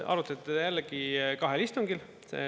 Arutati jällegi kahel istungil.